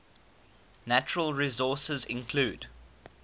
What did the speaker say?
natural resources include